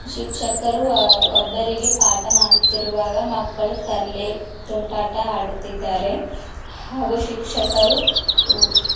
ಶಿಕ್ಶಕರು ಒಬ್ಬರಿಗೆ ಪಾಠ ಮಾಡುತ್ತಿರುವಾಗ ಮಕ್ಕಳು ತರ್ಲೆ ತುಂಟಾಟ ಆಡುತ್ತಿದ್ದಾರೆ ಹಾಗು ಶಿಕ್ಷಕರು--